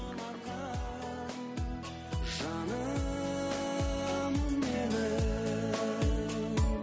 жаным менің